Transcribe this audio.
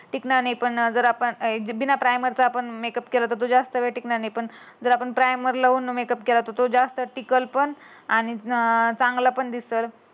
टिकला नाही. पण जर आपला एड बिना प्रायमर चा मेकअप केला त तो ज्यास्त वेळ टिकणार नाही. पण आपण प्रायमर लावून मेकअप केला तर तो जास्त वेळ टिकल आणि अं चांगला पण दिसल.